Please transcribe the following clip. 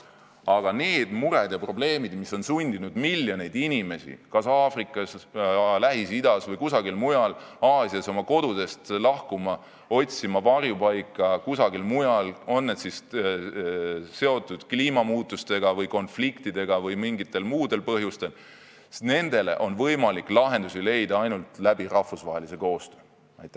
Aga nendele muredele ja probleemidele, mis on sundinud miljoneid inimesi Aafrikas, Lähis-Idas või kusagil mujal Aasias oma kodudest lahkuma ja otsima varjupaika mujal, on need siis seotud kliimamuutustega või konfliktidega või on need mingid muud põhjused, on võimalik lahendusi leida ainult rahvusvahelise koostöö abil.